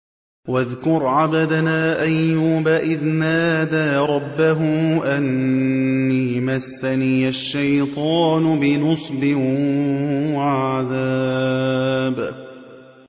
وَاذْكُرْ عَبْدَنَا أَيُّوبَ إِذْ نَادَىٰ رَبَّهُ أَنِّي مَسَّنِيَ الشَّيْطَانُ بِنُصْبٍ وَعَذَابٍ